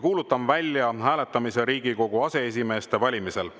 Kuulutan välja hääletamise Riigikogu aseesimeeste valimisel.